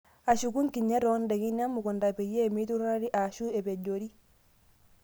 Ashuku nkinyat oondaikin emukuntaa peyie meiturari ashuu epejoori.